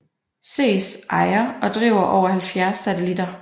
SES ejer og driver over 70 satellitter